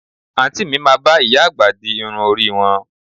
Àǹtí mi máa bá ìyá àgbà di irun orí wọn